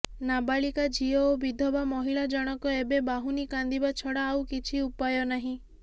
ନାବାଳିକା ଝିଅ ଓ ବିଧବା ମହିଳା ଜଣକ ଏବେ ବାହୁନି କାନ୍ଦିବା ଛଡ଼ା ଆଉ କିଛି ଉପାୟ ନାହିଁ